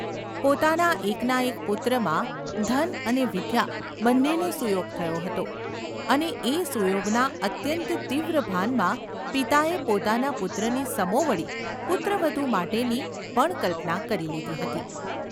પોતાના એકના એક પુત્રમાં ધન અને વિદ્યા બન્નેનો સુયોગ થયો હતો અને એ સુયોગના અત્યંત તીવ્ર ભાનમાં પિતાએ પોતાના પુત્રની સમોવડી પુત્રવધૂ માટેની પણ કલ્પના કરી લીધી હતી.